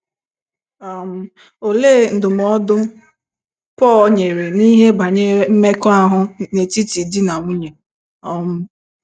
um Olee ndụmọdụ Pọl nyere n’ihe banyere mmekọahụ n’etiti di na nwunye? um